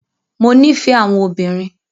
Mo nífẹ̀ẹ́ àwọn obìnrin.